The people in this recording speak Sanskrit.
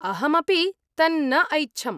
अहमपि तन्न ऐच्छम्।